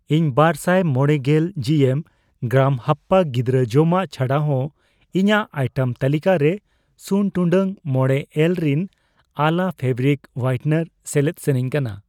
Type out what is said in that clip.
ᱤᱧ ᱵᱟᱨᱥᱟᱭ ᱢᱚᱲᱮᱜᱮᱞ ᱡᱤᱮᱢ, ᱜᱨᱟᱢ ᱦᱟᱯᱯᱟ ᱜᱤᱫᱨᱟᱹ ᱡᱚᱢᱟᱜ ᱪᱷᱟᱰᱟ ᱦᱚ ᱤᱧᱟᱜ ᱟᱭᱴᱮᱢ ᱛᱟᱹᱞᱤᱠᱟ ᱨᱮ ᱥᱩᱱ ᱴᱩᱰᱟᱹᱜ ᱢᱚᱲᱮ ᱮᱞ ᱨᱤᱱ ᱟᱞᱟ ᱯᱷᱮᱵᱨᱤᱠ ᱦᱳᱭᱟᱭᱤᱴᱚᱱᱟᱨ ᱥᱮᱞᱮᱫ ᱥᱟᱱᱟᱧ ᱠᱟᱱᱟ ᱾